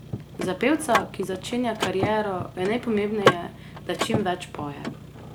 Za pevca, ki začenja kariero, je najpomembneje, da čim več poje.